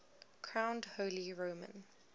crowned holy roman